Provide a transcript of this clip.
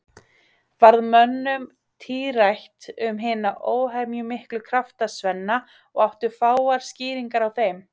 Varð mönnum tíðrætt um hina óhemjumiklu krafta Svenna og áttu fáar skýringar á þeim.